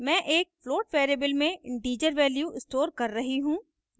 मैं एक float variable में integer integer value स्टोर कर रही हूँ